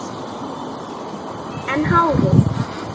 En hárið?